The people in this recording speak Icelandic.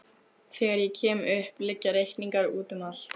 Þegar ég kem upp liggja reikningar úti um allt.